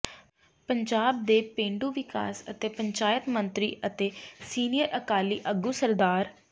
ਪੰਜਾਬ ਦੇ ਪੇਂਡੂ ਵਿਕਾਸ ਅਤੇ ਪੰਚਾਇਤ ਮੰਤਰੀ ਅਤੇ ਸੀਨੀਅਰ ਅਕਾਲੀ ਆਗੂ ਸ